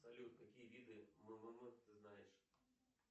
салют какие виды ммм ты знаешь